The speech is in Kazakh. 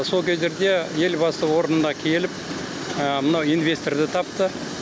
сол кездерде елбасы орнына келіп мына инвесторды тапты